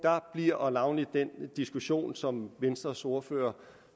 bliver navnlig den diskussion som venstres ordfører